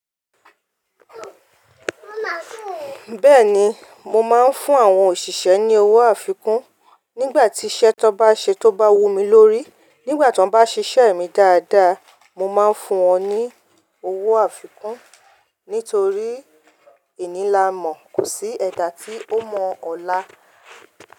Bẹ́ẹ̀ni, mo máa ń fún àwọn òṣìṣẹ́ ní owó àfikún nígbà tí iṣẹ́ tó bá ṣe tó bá wu mí lórí. Nígbà tí wọ́n bá ṣiṣẹ́ mi dáadáa, mo máa ń fún wọn ní owó àfikún nítorí ení lamọ̀ kò sí ẹ̀dà tí ó mọ ọ̀la.